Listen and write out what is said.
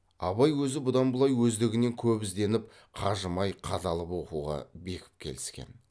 абай өзі бұдан былай өздігінен көп ізденіп қажымай қадалып оқуға бекіп келсін